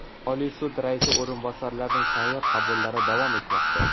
Oliy sud raisi o‘rinbosarlarining sayyor qabullari davom etmoqda.